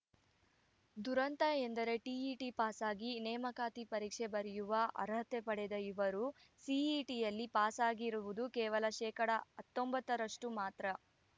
ದುರಂತ ಎಂದರೆ ಟಿಇಟಿ ಪಾಸಾಗಿ ನೇಮಕಾತಿ ಪರೀಕ್ಷೆ ಬರೆಯುವ ಅರ್ಹತೆ ಪಡೆದ ಇವರು ಸಿಇಟಿಯಲ್ಲಿ ಪಾಸಾಗಿರುವುದು ಕೇವಲ ಶೇಕಡಾ ಹತ್ತೊಂಬತ್ತ ರಷ್ಟುಮಾತ್ರ